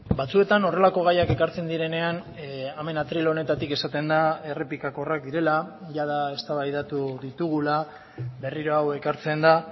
batzuetan horrelako gaiak ekartzen direnean hemen atril honetatik esaten da errepikakorrak direla jada eztabaidatu ditugula berriro hau ekartzen da